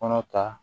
Kɔnɔ ta